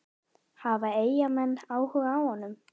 Hafa Eyjamenn áhuga á honum?